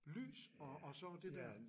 Lys og og så det der